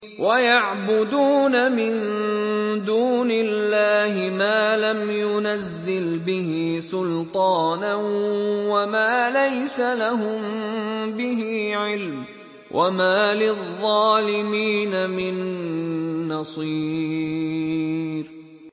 وَيَعْبُدُونَ مِن دُونِ اللَّهِ مَا لَمْ يُنَزِّلْ بِهِ سُلْطَانًا وَمَا لَيْسَ لَهُم بِهِ عِلْمٌ ۗ وَمَا لِلظَّالِمِينَ مِن نَّصِيرٍ